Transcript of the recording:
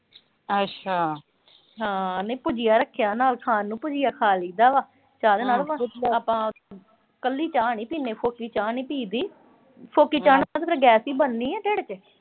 ਹਾਂ, ਨਈਂ ਭੁਜੀਆ ਰੱਖਿਆ ਨਾਲ ਖਾਣ ਨੂੰ, ਭੁਜੀ ਨਾਲ ਆਪਾਂ ਕੱਲੀ ਚਾਹ ਨੀਂ ਪੀਂਦੇ, ਫੋਕੀ ਚਾਹ ਨੀਂ ਪੀਈ ਦੀ। ਫੋਕੀ ਚਾਹ ਨਾਲ ਤਾਂ ਫਿਰ ਗੈਸ ਈ ਬਣਨੀ ਐ, ਢਿੱਡ ਚ।